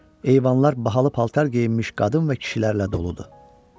Eyvanlar bahalı paltar geyinmiş qadın və kişilərlə doludur.